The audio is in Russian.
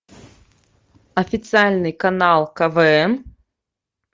официальный канал квн